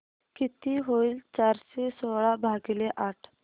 किती होईल चारशे सोळा भागीले आठ